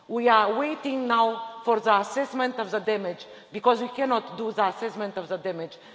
We are waiting now for the assessment of the damage because we cannot do the assessment of the damage.